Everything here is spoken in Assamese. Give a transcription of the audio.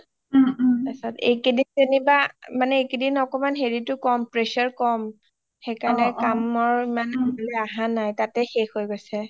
তাৰপিছত এইকেইদিন জেনিব মানে এইকেইদিন অকমান pressure কম সেইকাৰণে কামৰ ইমন সোনকালে আহা নাই তাতে শেষ হৈ গৈছে